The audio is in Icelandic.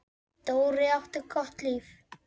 Dóri átti gott líf.